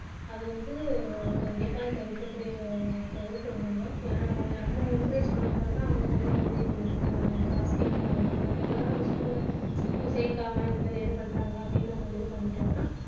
அது வந்து கண்டிப்பா தவிர்க்கக்கூடிய தவிர்க்கணும் நம்ம ஏன்னா நம்ம encourage பண்ண பண்ண தான் அவங்க வந்து அஹ் காசு கேக்க ஆரம்பிச்சிடுவாங்க நம்ம எல்லாரும் அந்த school அ சேர்க்காம இந்தமாதிரி இது பண்றாங்க அப்படின்னு நம்ம இது பண்ணிட்டோம்னா